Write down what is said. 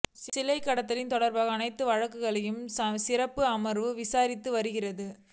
சிலைக்கடத்தல் தொடர்பான அனைத்து வழக்குகளையும் சிறப்பு அமர்வு விசாரித்து வருகிறது